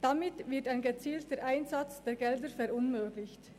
Damit wird ein gezielter Einsatz der Gelder verunmöglicht.